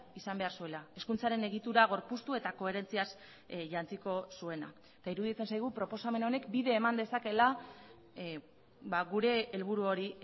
izan behar zuela hezkuntzaren egitura gorpuztu eta koherentziaz jantziko zuena eta iruditzen zaigu proposamen honek bide eman dezakeela gure helburu hori